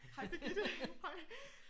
Hej Birgitte hej